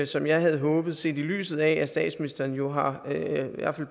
som jeg havde håbet set i lyset af at statsministeren jo har